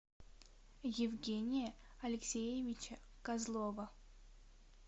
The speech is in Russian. евгения алексеевича козлова